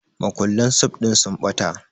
Makullan sif ɗin sun ɓata